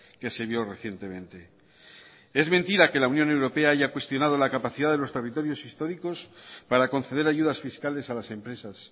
que se vio recientemente es mentira que la unión europea haya cuestionado la capacidad de los territorios históricos para conceder ayudas fiscales a las empresas